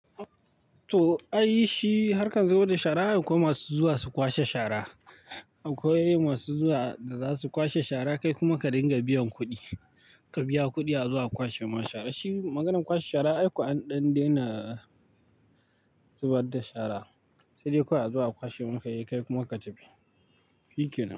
To, ai shi har ka zo da shara akwai masu zuwa su kwashe shara. Akwai masu zuwa da za su kwashe shara kai kuma ka dinga biyan kuɗi, ka biya kuɗi azo a kwashe ma shara. Shi maganar kwashe shara ai ko an dan daina zubar da shara, sai dai kawai azo a kwashe. Kai kuma ka tafi, hike nan.